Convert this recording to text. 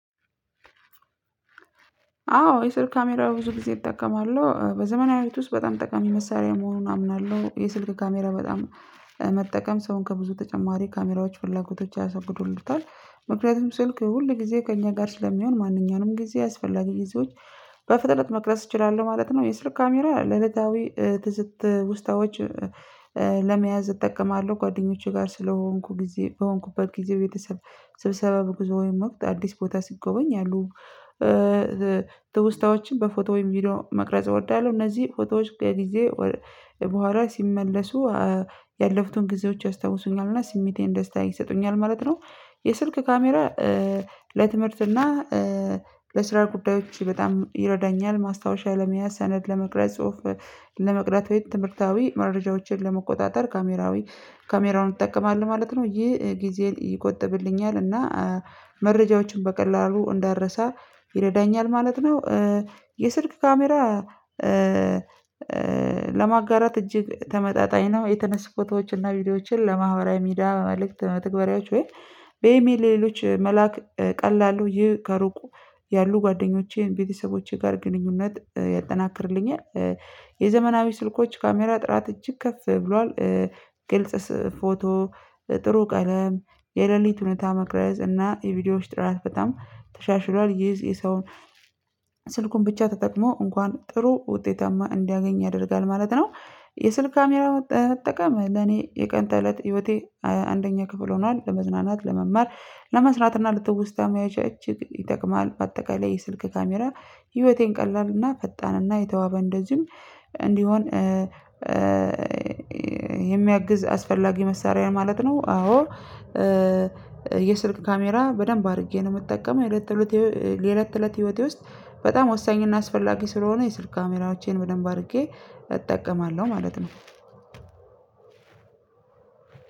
አዎ የስልክ ካሜራ ብዙ ጊዜ እጠቀማለሁ በዘመናዊት ውስጥ በጣም ጠቃሚ መሳሪያ መሆኑን አምናለሁ። የስልክ ካሜራ በጣም መጠቀም ሰውን ከብዙ ተጨማሪ ካሜራዎች ፍላጎቶች ያስወግዱሉታል። ምክንያቱም ስልክ ሁል ጊዜ ከእኛ ጋር ስለሚሆን ማንኛውንም ጊዜ ያስፈላጊ ጊዜዎች በፍጥነት መቅረጽ እችላለሁ ማለት ነው። የስልክ ካሜራ ለእለታዊ ትዝት ትውስታዎች ለመያዝ እጠቀማለሁ ጓደኞቼ ጋር ስለሆንኩ ጊዜ በሆንኩበት ጊዜ ቤተሰብ ስብሰባ በጉዞ ወይም ወቅት አዲስ ቦታ ሲጎበኝ አሉ። ትውስታዎችን በፎቶ ወይም ቪዲዮ መቅረጽ እወዳለሁ። እነዚህ ፎቶዎች ከጊዜ በኋላ ሲመለሱ ያለፉትን ጊዜዎች ያስታውሱኛል እና ስሜቴን ደስታ ይሰጡኛል ማለት ነው። የስልክ ካሜራ ለትምህርት እና ለስራ ጉዳዮች በጣም ይረዳኛል። ማስታወሻ ለመያዝ ሰነድ ለመቅረጽ ጽሁፍ ለመቅዳት ትምህርታዊ መረጃዎችን ለመቆጣጠር ካሜራዊ ካሜራውን ይጠቀማል ማለት ነው። ይህ ጊዜ ይቆጥብልኛል እና መረጃዎችን በቀላሉ እንዳረሳ ይረዳኛል ማለት ነው። የስልክ ካሜራ ለማጋራት እጅግ ተመጣጣኝ ነው። የተነሱ ፎቶዎችና ቪዲዮዎችን ለማህበራዊ ሚዲያ በመልእክት መትግበሪያዎች ወይም በኢሜል ለሌሎች መላክ ቀላሉ ይህ ከሩቁ ያሉ ጓደኞቼን ቤተሰቦቼ ጋር ግንኙነት ያጠናክርልኛል። የዘመናዊ ስልኮች ካሜራ ጥራት እጅግ ከፍ ብሏል። ግልጽ ፎቶ ጥሩ ቀለም የሌሊት ሁኔታ መቅረጽ እና የቪዲዮዎች ጥራት በጣም ተሻሽሏል ይዝ የሰውን ስልኩን ብቻ ተጠቅሞ እንኳን ጥሩ ውጤታማ እንዲያገኝ ያደርጋል ማለት ነው። የስልክ ካሜራ መጠቀም ለኔ የቀን ተለት ህይወቴ አንደኛ ክፍል ሆኗል። ለመዝናናት ለመማር ለመስራት እና ለትውስታ መያዣችን ይጠቅማል። በአጠቃላይ የስልክ ካሜራ ህይወቴን ቀላል እና ፈጣን እና የተዋበ እንደዚሁም እንዲሆን የሚያግዝ አስፈላጊ መሳሪያ ማለት ነው። አዎ። የስልክ ካሜራ በደንብ አድርጌ ነው የምጠቀመው። የለት ተለት የለት ትለት ህይወቴ ውስጥ በጣም ወሳኝ እና አስፈላጊ ስለሆነ የስልክ ካሜራዎቼን በደንብ አድርጌ እጠቀማለሁ ማለት ነው።